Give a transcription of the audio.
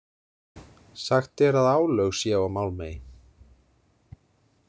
Sagt er að álög séu á Málmey.